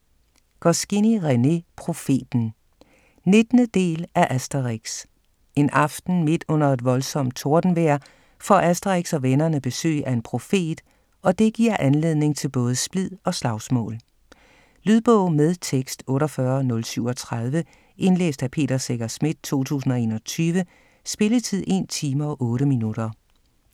Goscinny, René: Profeten 19. del af Asterix. En aften - midt under et voldsomt tordenvejr - får Asterix og vennerne besøg af en profet. Og det giver anledning til både splid og slagsmål. Lydbog med tekst 48037 Indlæst af Peter Secher Schmidt, 2021. Spilletid: 1 time, 8 minutter.